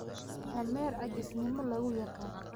Dameer caajisnimo lagu yaqaan.